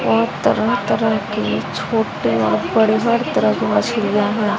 और तरह तरह के छोटे और बड़े हर तरह की मछलियां है।